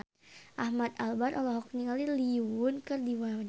Ahmad Albar olohok ningali Lee Yo Won keur diwawancara